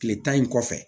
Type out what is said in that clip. Tile tan in kɔfɛ